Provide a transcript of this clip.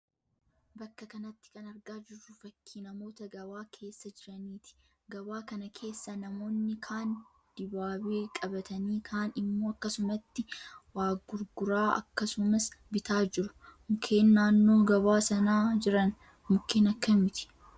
Bakka kanatti kan argaa jirru fakkii namoota gabaa keessa jiraniiti. Gabaa kana keessa namoonni kaan dibaabee qabatanii kaan immoo akkasumatti waa gurguraa akkasumas bitaa jiru. Mukeen naannoo gabaa sanaa jiran mukeen akkamiiti?